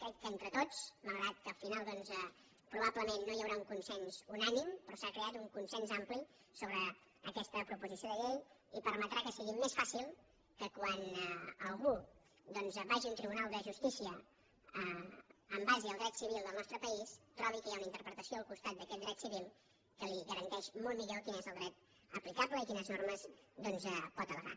crec que entre tots malgrat que al final doncs probablement no hi haurà un consens unànime però s’ha creat un consens ampli sobre aquesta proposició de llei i permetrà que sigui més fàcil que quan algú vagi a un tribunal de justícia en base al dret civil del nostre país trobi que hi ha una interpretació al costat d’aquest dret civil que li garanteix molt millor quin és el dret aplicable i quines normes pot al·legar